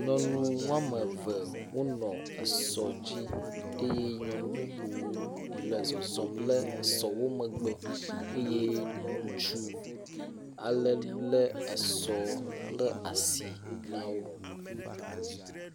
Nyɔnu woame eve wonɔ esɔ dzi eye nyɔnu bubu le zɔzɔm le esɔ wo megbe eye ŋutsu ale lé esɔ le asi na wo.